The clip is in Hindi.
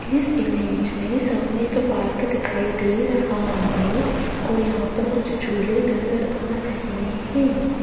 इस इमेज में सामने एक पार्क दिखाई दे रहा है और यहां पर कुछ झूले नजर आ रहे हैं।